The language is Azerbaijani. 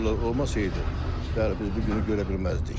Onlar olmasaydı, bəli, biz bu günü görə bilməzdik.